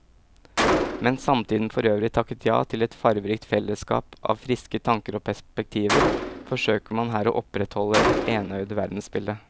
Mens samtiden forøvrig takket ja til et farverikt fellesskap av friske tanker og perspektiver, forsøker man her å opprettholde et enøyd verdensbilde.